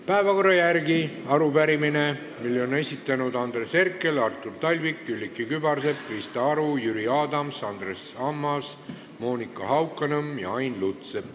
Päevakorra järgi on täna kavas arupärimine, mille on esitanud Andres Herkel, Artur Talvik, Külliki Kübarsepp, Krista Aru, Jüri Adams, Andres Ammas, Monika Haukanõmm ja Ain Lutsepp.